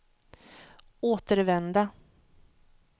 återvända